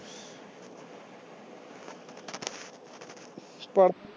ਪਰ